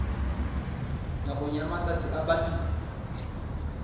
nakong ya matsatsi a balemi